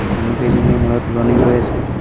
মানুহকেইজনীয়ে মূৰত উৰণি লৈ আছে।